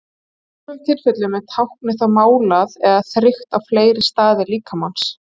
Í sumum tilfellum er táknið þó málað eða þrykkt á fleiri staði líkamans.